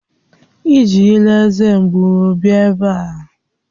Ejila eze mgbu bịa ebe a!